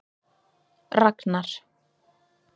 Ragnar